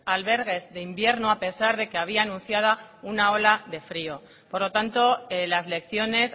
albergues de invierno a pesar de que había anunciada una ola de frio por lo tanto las lecciones